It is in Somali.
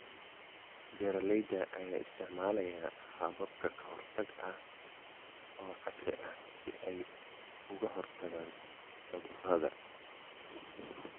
Beeralayda ayaa isticmaalaya habab ka hortag ah oo casri ah si ay uga hortagaan cudurrada.